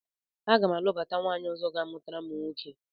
Aga m alụbata nwaanyị ọzọ ga-amụtara m nwoke